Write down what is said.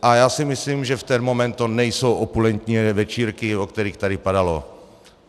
A já si myslím, že v ten moment to nejsou opulentní večírky, o kterých tady padalo.